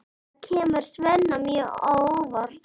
Það kemur Svenna mjög á óvart.